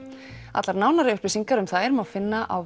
allar nánari upplýsingar um þær má finna á